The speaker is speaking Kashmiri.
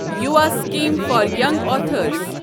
Yuva Sikkim for young authors